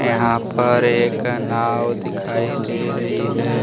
यहां पर एक नाव दिखाई दे रही है।